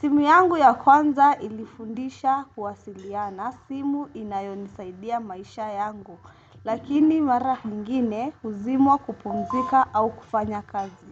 Simu yangu ya kwanza ilifundisha kuwasiliana. Simu inayonisaidia maisha yangu. Lakini mara nyingine huzimwa kupumzika au kufanya kazi.